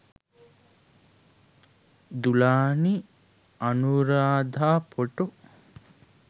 dulani anuradha photo